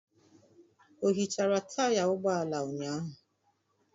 O hichara taya ụgbọ ala ụnyaahụ?